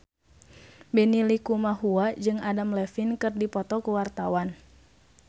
Benny Likumahua jeung Adam Levine keur dipoto ku wartawan